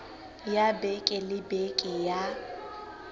ya beke le beke ya